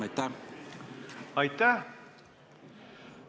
Aitäh!